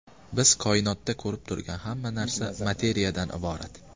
Biz koinotda ko‘rib turgan hamma narsa materiyadan iborat.